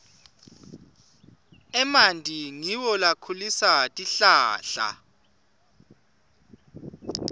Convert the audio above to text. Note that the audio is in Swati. emanti ngiwo lakhulisa tihlahla